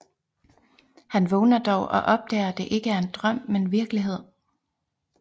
Han vågner dog og opdager det ikke er en drøm men virkelighed